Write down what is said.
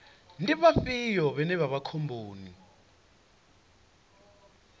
ndi vhafhio vhane vha vha khomboni